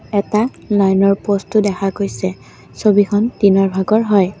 এটা লাইনৰ প'ষ্টো দেখা পোৱা গৈছে ছবিখন দিনৰ ভাগৰ হয়।